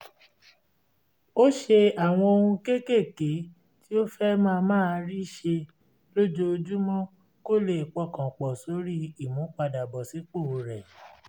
ó ṣe àwọn ohun kéékèèké tí ó fẹ́ máa máa rí ṣe lójoojúmọ́ kó lè pọkàn pọ̀ sórí ìmúpadàbọ̀sípò rẹ̀